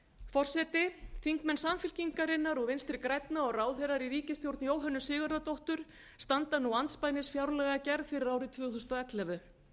forseti þingmenn samfylkingarinnar og vinstri grænna og ráðherrar í ríkisstjórn jóhönnu sigurðardóttur standa nú andspænis fjárlagagerð fyrir árið tvö þúsund og ellefu